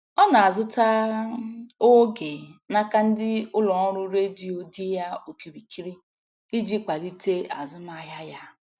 Ọ na-azụta oge n'aka ndị ụlọ ọrụ redio dị ya okirikiri iji kwalite azụmahịa ya.